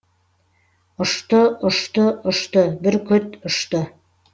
ұшты ұшты ұшты бүркіт ұшты